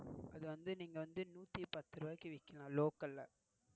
அத நீங்க வந்து நூத்திபத்து ரூபாய்க்கு விக்கலாம் local ல